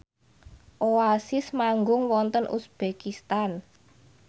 Oasis manggung wonten uzbekistan